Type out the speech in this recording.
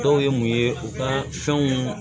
Dɔw ye mun ye u ka fɛnw